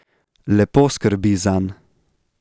Lepo skrbi zanj...